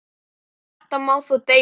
Um þetta má þó deila.